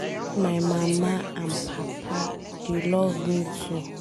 I love my mama and papa, dey love me too.